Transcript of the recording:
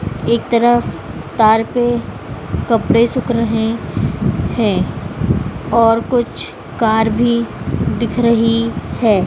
एक तरफ तार पे कपड़े सूख रहे हैं और कुछ कार भी दिख रही है।